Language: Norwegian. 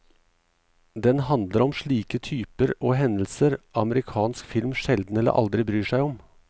Den handler om slike typer og hendelser amerikansk film sjelden eller aldri bryr seg om.